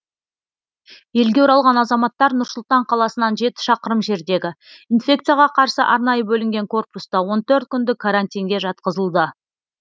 елге оралған азаматтар нұр сұлтан қаласынан жеті шақырым жердегі инфекцияға қарсы арнайы бөлінген корпуста он төрт күндік карантинге жатқызылды